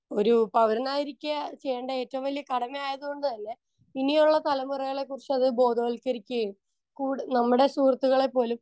speaker 1 ഒരു പൗരനായിരിക്കെ ചെയ്യേണ്ട ഏറ്റവും വല്ല്യ കടമ ആയതുകൊണ്ട് തന്നെ ഇനിയുള്ള തലമുറകളെ കുറിച്ച് അത് ബോധവൽക്കരിക്കുകയും കൂടെ നമ്മടെ സുഹൃത്തുക്കളെപ്പോലും